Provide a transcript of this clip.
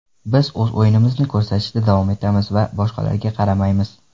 Biz o‘z o‘yinimizni ko‘rsatishda davom etamiz va boshqalarga qaramaymiz.